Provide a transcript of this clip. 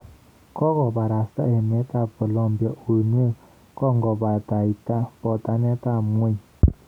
Kogobarasta emet ab Colombiauinwek kongobataita potaneet ab ng'weny.